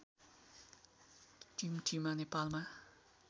टिमटिमा नेपालमा